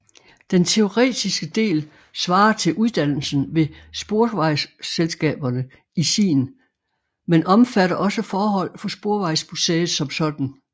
Den teoretiske del svarer til uddannelsen ved sporvejsselskaberne i sin men omfatter også forhold for Sporvejsmuseet som sådan